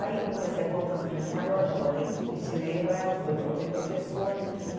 Aí, comecei a botar as meninas maiores, já ensinei para elas, depois botei professora.